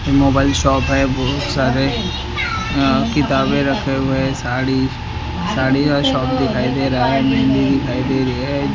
Mobile shop है बहुत सारे अह किताबें रखे हुए हैं साड़ी साड़ी और शॉप दिखाई दे रहा है मेहंदी दिखाई दे रही है।